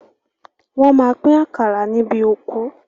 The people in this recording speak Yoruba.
Wọ́n máa pín àkàrà níbi òkú.